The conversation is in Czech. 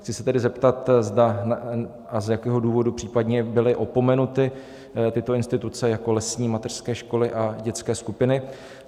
Chci se tedy zeptat, zda a z jakého důvodu případně byly opomenuty tyto instituce jako lesní mateřské školy a dětské skupiny?